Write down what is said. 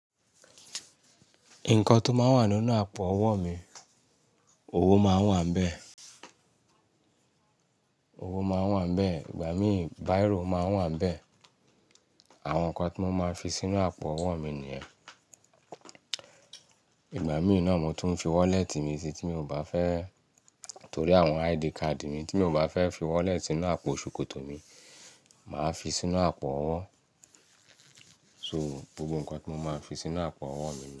Nǹkan tó máa ń wà nínú àpò owó mi, owó máa ń wà níbẹ̀, owó máa ń wà níbẹ̀, ìgbà mí bírò máa wà níbẹ̀. Àwọn ǹkan tí mo máa ń fi sínú àpò owó mi nìyẹn. Ìgbà mìíràn mo tún ń fi wallet mi sí tí mi ò bá fẹ́ torí àwọn ID card mi tí mi ò bá fẹ́ fi wallet sínú àpò ṣòkòtò mi, màá fi sínú àpò owó. So gbogbo ǹkan tí mo máa ń fi sínú àpò owó mi ni.